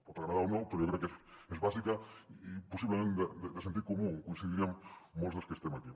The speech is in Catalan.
pot agradar o no però jo crec que és bàsica i possiblement de sentit comú hi coincidiríem molts dels que estem aquí